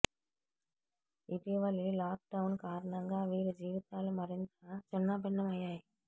ఇటీవలి lockdown కారణంగా వీరి జీవితాలు మరింత చిన్నాభిన్నం అయ్యాయి